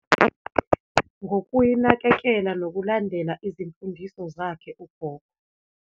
Ngokuyinakekela, nokulandela izimfundiso zakhe, uGogo.